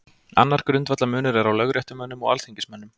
Annar grundvallarmunur er á lögréttumönnum og alþingismönnum.